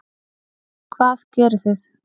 Hvað gerið þið?